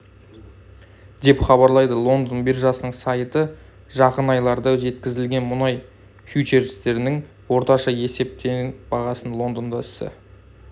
деп хабарлайды лондон биржасының сайты жақын айларда жеткізілетін мұнай фьючерстерінің орташа есептеген бағасы лондонда ісі